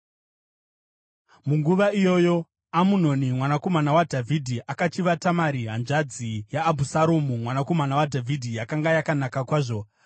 Munguva iyoyo, Amunoni mwanakomana waDhavhidhi akachiva Tamari, hanzvadzi yaAbhusaromu mwanakomana waDhavhidhi yakanga yakanaka kwazvo.